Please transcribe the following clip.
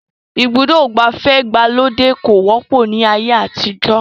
Ibùdó ìgbafẹ́ ìgbàlódé kò wọ́pọ̀ ní ayé àtijọ́